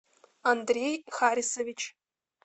андрей харисович